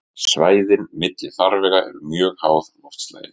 Svæðin milli farvega eru mjög háð loftslagi.